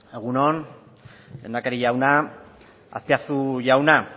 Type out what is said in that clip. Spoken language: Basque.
egun on lehendakari jauna azpiazu jauna